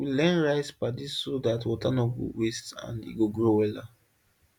we learn rice paddy so that water no go waste and e go grow wella